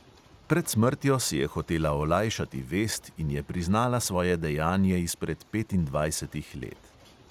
Pred smrtjo si je hotela olajšati vest in je priznala svoje dejanje izpred petindvajsetih let.